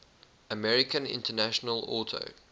american international auto